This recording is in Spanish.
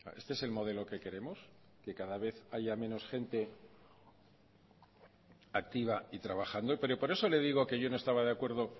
este es el modelo que queremos que cada vez haya menos gente activa y trabajando pero por eso le digo que yo no estaba de acuerdo